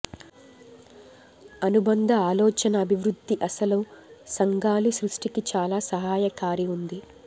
అనుబంధ ఆలోచన అభివృద్ధి అసలు సంఘాలు సృష్టికి చాలా సహాయకారి ఉంది